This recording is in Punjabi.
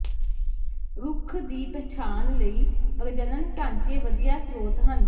ਰੁੱਖ ਦੀ ਪਛਾਣ ਲਈ ਪ੍ਰਜਨਨ ਢਾਂਚੇ ਵਧੀਆ ਸਰੋਤ ਹਨ